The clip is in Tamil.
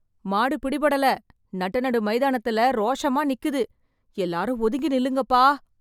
மாடு பிடிபடல.... நட்டநடு மைதானத்துல ரோஷமா நிக்குது... எல்லாரும் ஒதுங்கி நில்லுங்கப்பா.